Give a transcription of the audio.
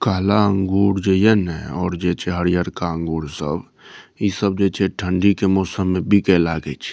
काला अंगूर जे ये ने और जे छै हरियर का अंगूर सब इ सब जे छै ठंडी के मौसम मे बीके लागे छै।